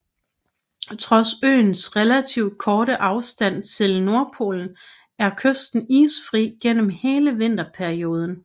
Trods øens relativt korte afstand til Nordpolen er kysten isfri gennem hele vinterperioden